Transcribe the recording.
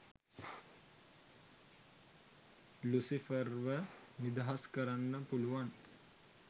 ලුසිෆර්ව නිදහස් කරන්න පුළුවන්